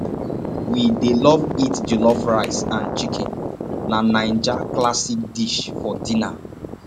we dey love eat jollof rice and chicken na naija classic dish for dinner